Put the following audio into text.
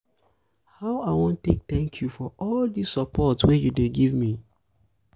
how i wan take thank you for all dis support you dey give me?